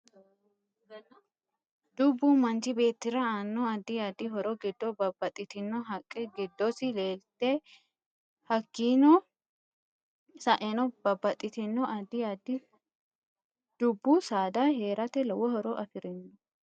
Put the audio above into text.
Dubbu manchi beetira aano addi addi horo giddo babbaxitono haqqe giddosi leelate hakiini sa'enno babbaxitino addi addi dubbu saada heerate lowo horo afirino